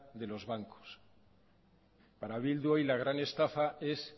de los bancos para bildu hoy la gran estafa es